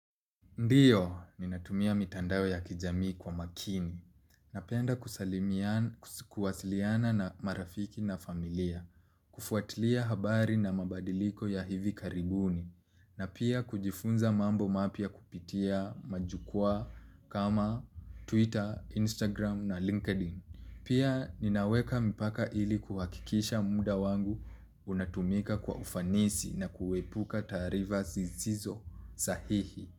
Ndiyo, ninatumia mitandao ya kijamii kwa makini. Napenda kusalimiana na marafiki na familia. Kufuatilia habari na mabadiliko ya hivi karibuni. Na pia kujifunza mambo mapya kupitia majukwa kama Twitter, Instagram na LinkedIn. Pia ninaweka mpaka ili kuhakikisha muda wangu unatumika kwa ufanisi na kuepuka taarifa zisizo sahihi.